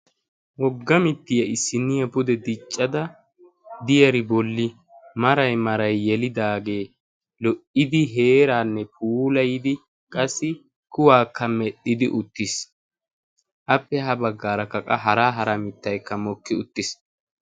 Wogga mittiyaa issiniya pude diccada diyari bolli marai marai yelidaagee lo"idi heeraanne puulayidi qassi kuwaakka medhdhidi uttiis. appe ha baggaara kaqa hara hara mittaykka mokki uttiis.